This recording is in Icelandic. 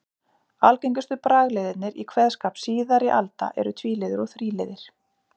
Algengustu bragliðirnir í kveðskap síðari alda eru tvíliður og þríliðir.